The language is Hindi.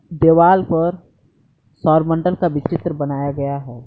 देवाल पर सौरमंडल का भी चित्र बनाया गया है।